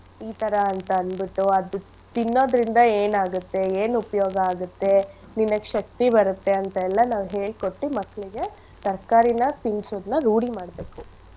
ಈಥರ ಅಂತಂದ್ಬಿಟ್ಟು ಅದು ತಿನ್ನೋದ್ರಿಂದ ಏನ್ ಆಗುತ್ತೆ ಏನ್ ಉಪಯೋಗ ಆಗತ್ತೆ ನಿನಗ್ ಶಕ್ತಿ ಬರತ್ತೆ ಅಂತೆಲ್ಲ ನಾವ್ ಹೇಳ್ಕೊಟ್ಟಿ ಮಕ್ಳಿಗೆ ತರ್ಕಾರಿನ ತಿನ್ಸೋದ್ನ ರೂಢಿ ಮಾಡ್ಬೇಕು.